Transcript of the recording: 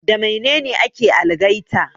Da Mainene ake algaita?